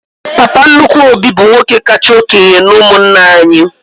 Papa nnukwu Obi bụ nwoke kacha okénye n'umunna anyị